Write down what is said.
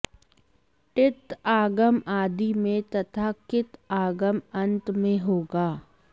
टित् आगम आदि में तथा कित् आगम अन्त में होगा